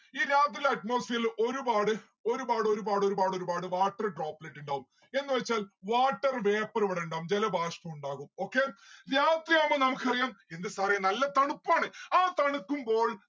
ഈ രാത്രിയിലെ atmosphere ല് ഒരുപാട് ഒരുപാടൊരുപാടൊരുപാട് water droplet ഇണ്ടാവും എന്ന് വച്ചാൽ water vapour ഇവിടെ ഇണ്ടാവും. ജലബാഷ്പം ഉണ്ടാവും okay ജലത്തെയാവുമ്പം നമുക്കറിയാം എന്റെ sir ഏ നല്ല തണുപ്പാണ്. ആ തണുക്കുമ്പോൾ